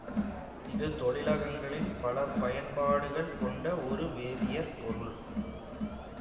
இது தொழிலகங்களில் பல பயன்பாடுகள் கொண்ட ஒரு வேதியற் பொருள்